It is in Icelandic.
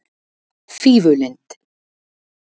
Fífulind